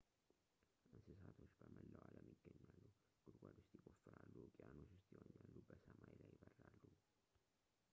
እንስሳቶች በመላው አለም ይገኛሉ ጉድጓድ ውስጥ ይቆፍራሉ ውቅያኖስ ውስጥ ይዋኛሉ በሰማይ ላይ ይበራሉ